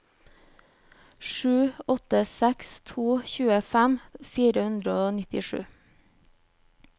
sju åtte seks to tjuefem fire hundre og nittisju